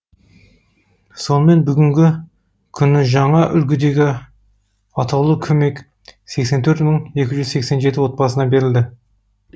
сонымен бүгінгі күні жаңа үлгідегі атаулы көмек сексен төрт мың екі жүз сексен жеті отбасына берілді